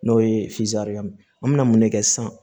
N'o ye an mina mun ne kɛ sisan